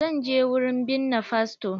Zan je wurin binne fasto.